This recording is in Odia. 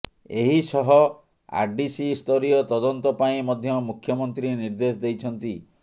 ଏହି ସହ ଆରଡିସି ସ୍ତରୀୟ ତଦନ୍ତ ପାଇଁ ମଧ୍ୟ ମୁଖ୍ୟମନ୍ତ୍ରୀ ନିର୍ଦ୍ଦେଶ ଦେଇଛନ୍ତି